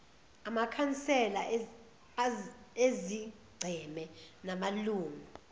amakhansela ezigceme namalungu